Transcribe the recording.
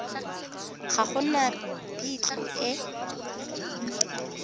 ga go na phitlho e